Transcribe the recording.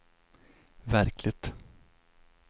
verkligt